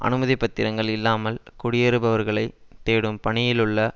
அனுமதி பத்திரங்கள் இல்லாமல் குடியேறுபவர்களை தேடும் பணியிலுள்ள